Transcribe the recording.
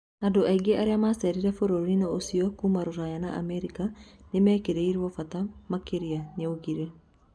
Andũ aingĩ arĩa macerire bũrũri-inĩũcio kuma Ruraya na Amerika nĩmekĩrĩirwo bata makĩria, nĩaugire